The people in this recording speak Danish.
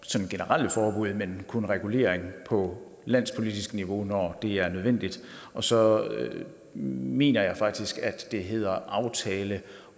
sådan generelle forbud men kun regulering på landspolitisk niveau når det er nødvendigt og så mener jeg faktisk at det hedder aftale